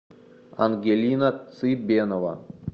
ангелина цибенова